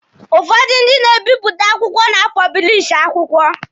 Ụfọdụ ndị na-ebịpụta akwụkwọ na-apọblishi akwụkwọ.